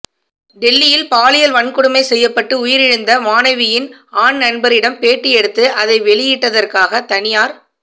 டெல்லியில் பாலியல் வன்கொடுமை செய்யப்பட்டு உயிரிழந்த மாணவியின் ஆண் நண்பரிடம் பேட்டி எடுத்து அதை வெளியிட்டதற்காக தனியார்